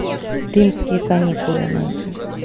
римские каникулы найди